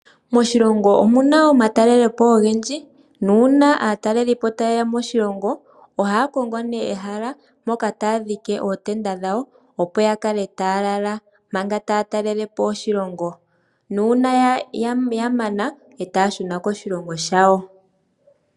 Moshilongo omuna omatalelepo ogendji, nuuna aatalelipo yeya, ohaya kongo ne ehala moka taya dhike ootenda dhawo, opo yakale taya lala, manga taya talelepo oshilongo. Uuna ya mana, ohaya shuna koshilongo shawo.